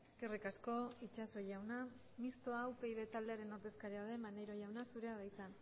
eskerrik asko itxaso jauna mistoa upyd taldearen ordezkaria den maneiro jauna zurea da hitza